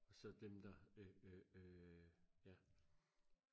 så dem der øh øh øh ja